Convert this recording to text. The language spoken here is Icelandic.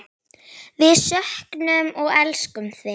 Við söknum og elskum þig.